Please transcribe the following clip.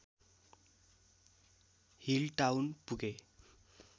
हिल्डटाउन पुगे